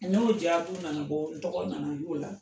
N'o jaabibu nana bɔ tɔgɔ nana y'o la